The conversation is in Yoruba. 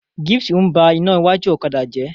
Gift n bá iná iwájú ọ̀kadà jẹ.